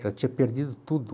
tinha perdido tudo.